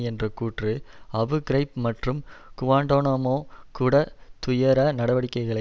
என்ற கூற்று Abu Ghraib மற்றும் குவான்டனாமோ குடா துயர நடவடிக்கைகளை